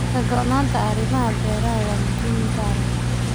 Ka go'naanta arrimaha beeraha waa muhiimad gaar ah.